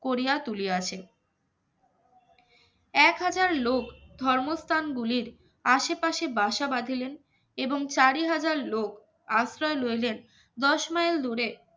করিয়া তুলিয়াছে, এক হাজার লোক ধর্মস্থানগুলির আশেপাশে বাসা বাঁধিলেন এবং চারি হাজার লোক আশ্রয়ে লইলেন দশ mile দূরে